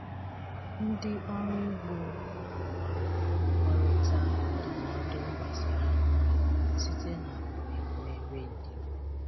Ndị ọrụ ugbo na-agbanwekọrịta ndụmọdụ gbasara nri site na mmemme redio.